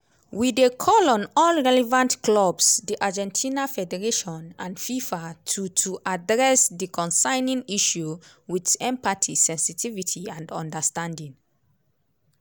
we dey call on all relevant clubs di argentina federation and fifa to to address di concerning issue wit empathy sensitivity and understanding.